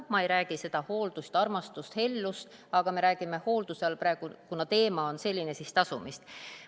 Ma ei räägi sellest hooldusest, et armastus, hellus, me räägime hoolduse all praegu, kuna teema on selline, tasumisest.